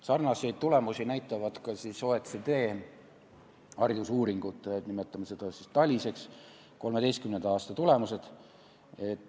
Sarnaseid tulemusi näitavad ka OECD haridusuuringu 2013. aasta tulemused.